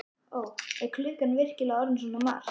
Ó, er klukkan virkilega orðin svona margt?